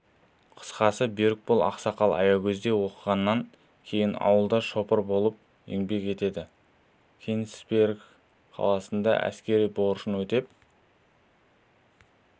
қысқасы берікбол ақсақал аягөзде оқығаннан кейін ауылда шопыр болып еңбек етеді кенисберг қаласында әскери борышын өтеп